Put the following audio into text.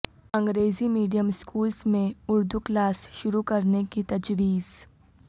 انگریزی medium schools میں Urdu class شروع کرنے کی تجویز